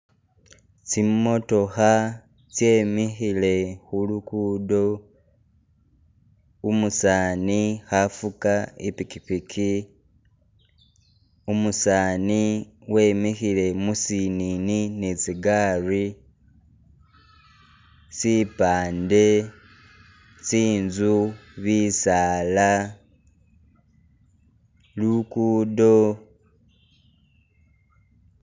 Tsimotokha tse mikhile khulugudo, umusani akhafuga ipikipiki umusani wemikhile musinini ne tsigaali, sipaande, tsinzu bisaala , lugudo